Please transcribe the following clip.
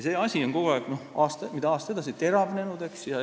See asi on kogu aeg, mida aasta edasi, seda rohkem teravnenud.